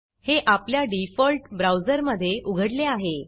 हे आपल्या डिफॉल्ट ब्राऊजरमधे उघडले आहे